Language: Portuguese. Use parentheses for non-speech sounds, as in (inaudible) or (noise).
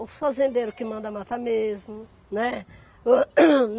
O fazendeiro que manda matar mesmo, né. (coughs)